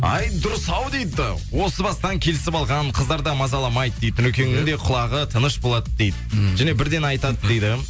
ай дұрыс ау дейді осы бастан келісіп алған қыздар да мазаламайды дейді нұрекеңнің де құлағы тыныш болады дейді және бірден айтады дейді